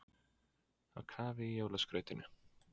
Á kafi í jólaskrautinu